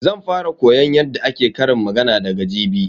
Zan fara koyon yadda ake ƙarin magana daga jibi.